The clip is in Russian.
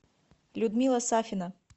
людмила сафина